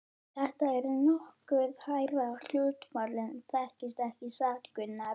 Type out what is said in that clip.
Þetta er nokkuð hærra hlutfall en þekkist ekki satt, Gunnar?